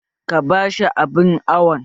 Ka bashi abun awon!